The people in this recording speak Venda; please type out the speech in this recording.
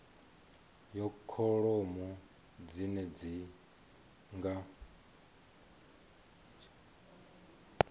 ya kholomo dzine dzi nga